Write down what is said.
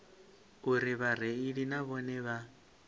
uri vhareili na vhone vha